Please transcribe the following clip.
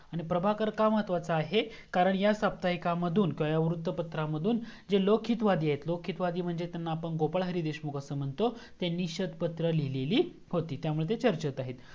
आणि प्रभाकर का महत्वाचा आहे कारण ह्या साप्ताहिकामधून वृत्त पत्रामधून जे लोक हित वादी आहेत लोक हित वादी म्हणजे ज्यांना आपण गोपाळ हरी देशमुख असा म्हणतो त्यांनी निषेध पत्र लिहिलेली होती त्यामुळे ते चर्चेत आहेत